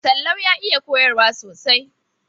Sallau ya iya koyarwa sosai.